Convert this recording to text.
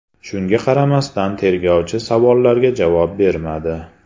Shunga qaramasdan tergovchi savollarga javob bermadi.